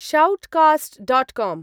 Shoutcast dot com.